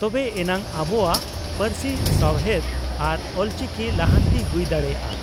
ᱛᱚᱵᱮ ᱮᱱᱟᱝ ᱟᱵᱚᱣᱟ ᱯᱟᱹᱨᱥᱤ ᱥᱟᱣᱦᱮᱫ ᱟᱨ ᱚᱞᱪᱤᱠᱤ ᱞᱟᱦᱟᱱᱛᱤ ᱦᱩᱭ ᱫᱟᱲᱮᱭᱟᱜᱼᱟ ᱾